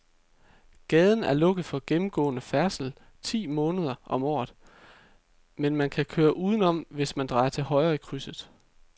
Gaden er lukket for gennemgående færdsel ti måneder om året, men man kan køre udenom, hvis man drejer til højre i krydset.